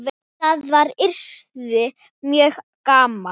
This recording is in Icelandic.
Það yrði mjög gaman.